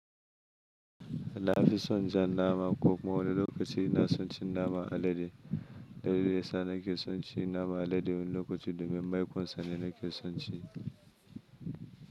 Na fi son jan nama ko kuma wani lokaci na son cin naman alade. Dalili yasa na ke son cin naman alade wani lokaci domin maikonsa ne na ke son ci.